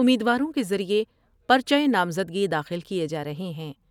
امیدواروں کے ذریعے پر چہ نامزدگی داخل کئے جارہے ہیں ۔